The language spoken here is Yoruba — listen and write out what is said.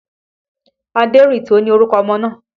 Aderinto ni orúkọ ọmọ náà